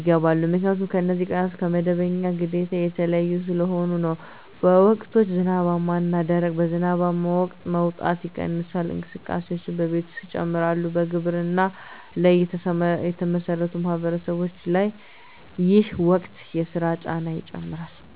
ይገባሉ 👉 ምክንያቱም እነዚህ ቀናት ከመደበኛ ግዴታ የተለዩ ስለሆኑ ነው። በወቅቶች (ዝናባማ እና ደረቅ): በዝናባማ ወቅት መውጣት ይቀንሳል፣ እንቅስቃሴዎችም በቤት ውስጥ ይጨምራሉ በግብርና ላይ የተመሠረቱ ማህበረሰቦች ላይ ይህ ወቅት የሥራ ጫና ይጨምራል